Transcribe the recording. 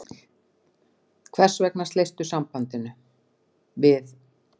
Hvers vegna sleistu sambandinu við